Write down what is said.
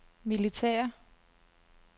militære